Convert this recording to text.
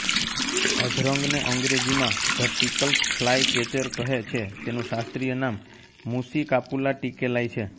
અધરંગને અંગ્રેજીમાં the Tickell's ફ્લાયકેચરકહે છેતેનું શાસ્ત્રીયનામ મુસ્સીકાપૂલા ટીકેલાય છે